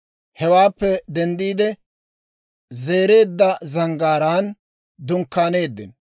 Hewaappe denddiide, Zereedda Zanggaaraan dunkkaaneeddino.